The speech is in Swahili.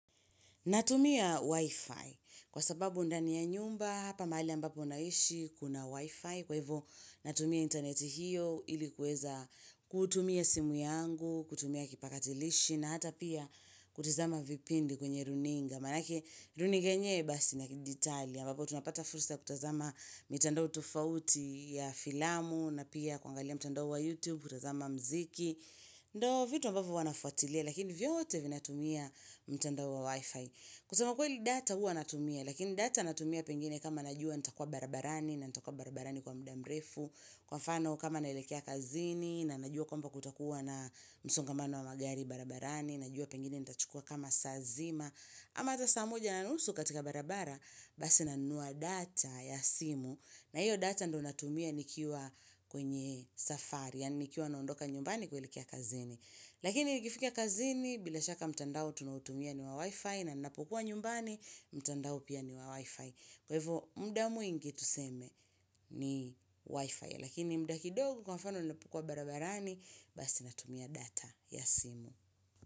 Natumia wi-fi kwa sababu ndani ya nyumba hapa mahali ambapo naishi kuna wi-fi kwa hivo natumia internet hiyo ilikuweza kutumia simu yangu, kutumia kipakatilishi na hata pia kutizama vipindi kwenye runinga. Manake runinga yenyewe basi na ya kidijitali ambapo tunapata fursa kutazama mitandao tofauti ya filamu na pia kuangalia mtandao wa YouTube kutazama mziki ondo vitu ambapo huwanafuatilia lakini vyote vinatumia mtandao wa Wi-Fi kusema kweli data hua anatumia lakini data natumia pengine kama najua nitakua barabarani na nitakua barabarani kwa mudamrefu kwa fano kama naelekea kazini na najua kwamba kutakuwa na msongamano wa magari barabarani najua pengine nitachukua kama saazima ama atasaamuja na nusu katika barabara, basi nanua data ya simu, na hiyo data ndo natumia nikiwa kwenye safari, yaa nikiwa naondoka nyumbani kuelekea kazini. Lakini nikifika kazini, bila shaka mtandao tunautumia ni wa wi-fi, na napokua nyumbani, mtandao pia ni wa wi-fi. Kwahivo, mdamw ingi tuseme ni wi-fi, lakini mdaki dogo kwa mfano ninapokua barabarani, basi natumia data ya simu.